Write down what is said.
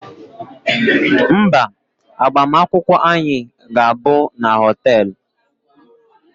Mba, agbamakwụkwọ anyị ga-abụ na họteelụ